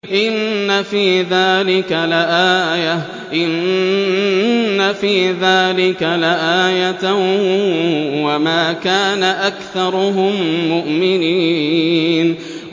إِنَّ فِي ذَٰلِكَ لَآيَةً ۖ وَمَا كَانَ أَكْثَرُهُم مُّؤْمِنِينَ